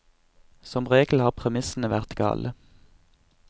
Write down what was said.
Som regel har premissene vært gale.